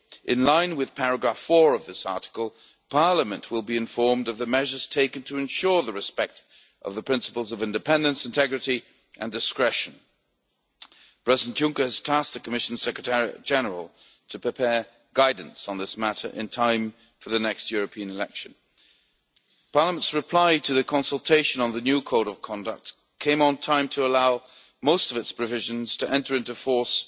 In line with paragraph 4 of this article, Parliament will be informed of the measures taken to ensure respect for the principles of independence, integrity and discretion. Present Juncker has tasked the Commission secretariat general with preparing guidance on this matter in time for the next European election. Parliament's reply to the consultation on the new Code of Conduct came in time to allow most of its provisions to enter into force